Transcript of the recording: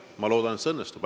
Ma loodan, et see õnnestub.